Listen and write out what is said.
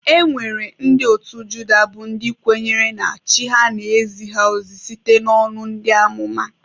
E nwere ndị otu Juda bụ ndị kwenyere na Chi ha na-ezi ha ozi site n'ọnụ ndị amụma.